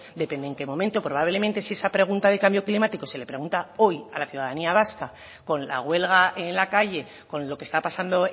depende en qué momento probablemente si esa pregunta del cambio climático se le pregunta hoy a la ciudadanía vasca con la huelga en la calle con lo que está pasando